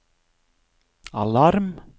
alarm